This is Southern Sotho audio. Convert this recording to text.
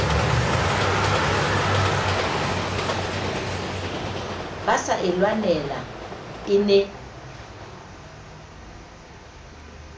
basa e lwanela e ne